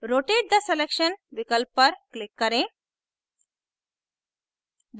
rotate the selection विकल्प पर click करें